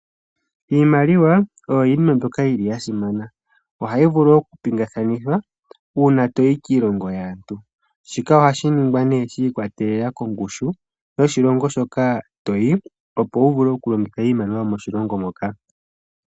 Iimaliwa oya simana, oha yi vulu oku pingakanithwa uuna toyi kiilongo yaantu. Shika oha shiningwa neeh shi ikwatelela kongushu yoshilongo hoka toyi opo wuvule oku longitha iimaliwa yomoshilongo moka.